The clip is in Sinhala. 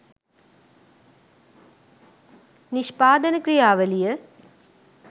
නිෂ්පාදන ක්‍රියාවලිය